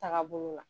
Taagabolo la